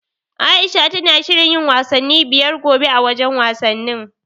Aisha tana shirin yin wasanni biyar gobe, a wajen wasannin.